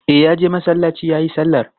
E, ya je masallaci ya yi sallar.